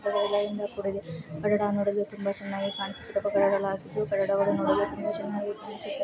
ನೂಡಲು ತುಂಬಾ ಚೆನ್ನಾಗಿ ಕಾಣಿಸುತ್ತಿದೆ ಸುತ್ತಲೂ ಗಿಡ ಮರಗಳಿವೆ.